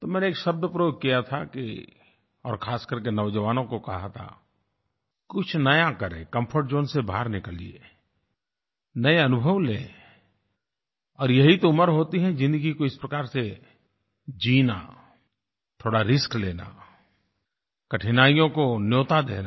तो मैंने एक शब्द प्रयोग किया था कि और खासकरके नौजवानों को कहा था कुछ नया करें कम्फर्ट ज़ोन से बाहर निकलिए नये अनुभव लें और यही तो उम्र होती है ज़िन्दगी को इस प्रकार से जीना थोड़ा रिस्क लेना कठिनाइयों को न्योता देना